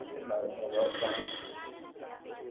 അത്ണ്ടാകും ഉറപ്പാണ്